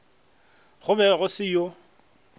go be go se yo